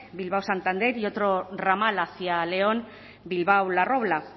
bilbao santander y otro ramal hacia león bilbao la robla